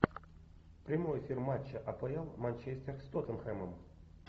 прямой эфир матча апл манчестер с тоттенхэмом